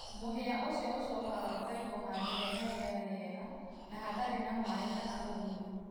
mũhĩa ũcĩo ũcokaga ũkaĩgũo handũ hena rĩera rĩega na hatarĩ`na maĩ kana ũgũnyũ